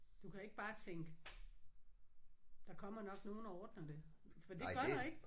Du kan ikke bare tænke der kommer nok nogen og ordner det for det gør der ikke